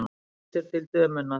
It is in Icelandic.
Lítur til dömunnar.